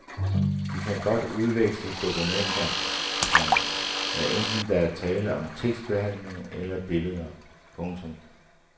De kan godt udveksle dokumenter, komma hvad enten der er tale om tekstbehandling eller billeder. punktum